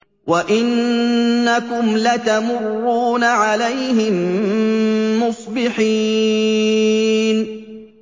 وَإِنَّكُمْ لَتَمُرُّونَ عَلَيْهِم مُّصْبِحِينَ